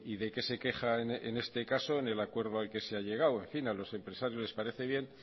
de qué se queja en este caso en el acuerdo al que se ha llegado en fin a los empresarios les parece bien